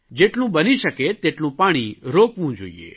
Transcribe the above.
જેટલું બની શકે તેટલું પાણી રોકવું જોઇએ